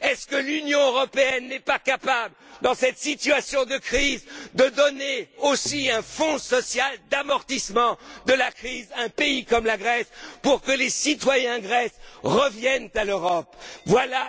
pays. Est ce que l'Union européenne n'est pas capable, dans cette situation de crise, de donner aussi un fonds social d'amortissement de la crise à un pays comme la Grèce pour que les citoyens grecs reviennent à l'Europe